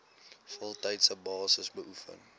voltydse basis beoefen